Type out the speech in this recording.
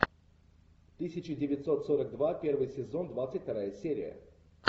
тысяча девятьсот сорок два первый сезон двадцать вторая серия